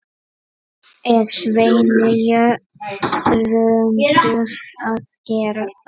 er Sveinn Jörundur að gera?